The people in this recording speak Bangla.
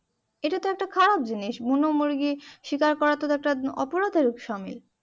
এটা তো একটা খারাপ জিনিস বুনোমুরগি শিকার করাটা তো একটা অপরাধের সামিল